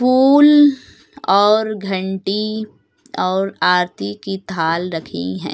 फूल और घंटी और आरती की थाल रखी हैं।